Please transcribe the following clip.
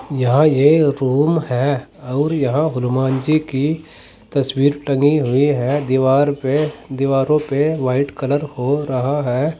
यहां ये रूम है अउर यहां हनुमान जी की तस्वीर टंगी हुई है। दीवार पे दीवारों पे व्हाइट कलर हो रहा है।